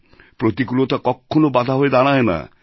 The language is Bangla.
প্রতিকূলতা কখনও বাধা হয়ে দাঁড়ায় না